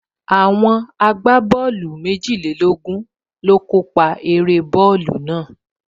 Àwọn agbábọ́ọ̀lù méjìlélógún ló kó pa eré bọ́ọ̀lù náà